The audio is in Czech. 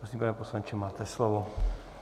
Prosím, pane poslanče, máte slovo.